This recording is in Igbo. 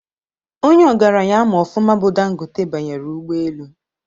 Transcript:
Onye ogaranya ama ọfụma bụ Dangote banyere ụgbọelu